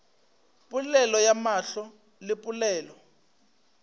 polelo ya mahlo le polelo